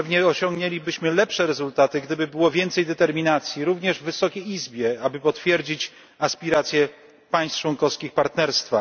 Pewnie osiągnęlibyśmy lepsze rezultaty, gdyby było więcej determinacji, również w Wysokiej Izbie, aby potwierdzić aspiracje państw członkowskich Partnerstwa.